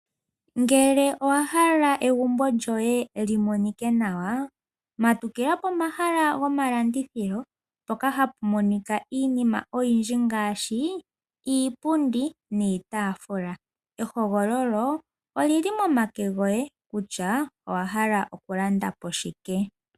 Ngele owahala egumbo lyoye lyi monike nawa, matukila pomahala gomalandithilo mpoka hapu monika iinima oyindji ngaashi Iipundi niitaafula. Ehogololo olili momake goye kutya owahala okulanda po shike.